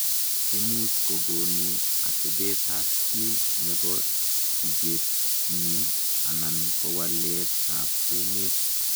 Imuuch kogonuu atepeet ap chii nepoo sigeetnyii anan kowaleet ap emeet